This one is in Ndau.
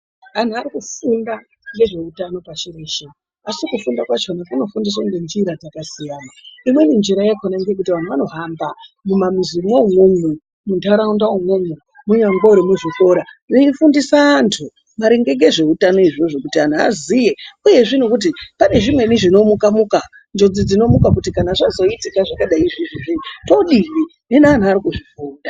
Antu arikufunda ngeveutano pashi reshe adi kufunda kwakhona kunoitwa ngenjira dzakasiyana. Imweni njira yakhona ngeyekuti vanhu vanohamba mumazi mwoumwomwo munharaunda umwomwo kunyangwe nemuzvikora veifundisa vanhu maringe ngezveutano izvozvo kuti vanhu vaziye uyezve ngekuti pane zvimweni zvinomuka muka, njodzi dzinomuka kuti zvazodayi todini. Hino vanhu varikuzvifunda.